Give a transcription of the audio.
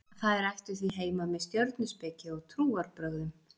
þær ættu því heima með stjörnuspeki og trúarbrögðum